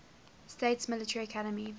states military academy